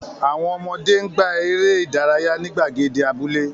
Àwọn ọmọdé ń gbá eré ìdárayá ní gbàgede abúlé.